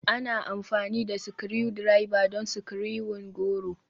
Ana amfani da Screwdriver don screwing goro.